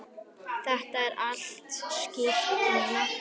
Þetta er allt skýrt núna.